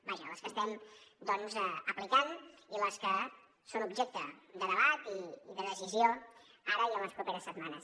vaja les que estem doncs aplicant i les que són objecte de debat i de decisió ara i en les properes setmanes